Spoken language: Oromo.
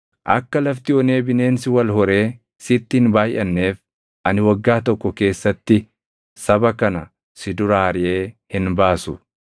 Akka lafti onee bineensi wal horee sitti hin baayʼanneef ani waggaa tokko keessatti saba kana si duraa ariʼee hin baasu.